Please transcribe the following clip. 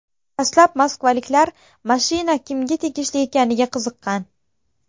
Dastlab moskvaliklar mashina kimga tegishli ekaniga qiziqqan.